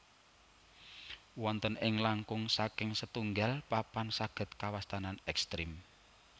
Wonten ing langkung saking setunggal papan saged kawastanan ekstrim